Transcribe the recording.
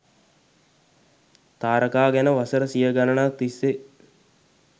තාරකා ගැන වසර සිය ගණනක් තිස්සේ